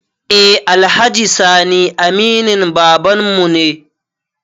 Eh alhaji sani aminin babanmu ne